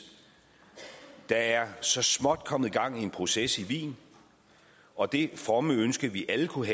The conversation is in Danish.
der er så småt kommet gang i en proces i wien og det fromme ønske vi alle kunne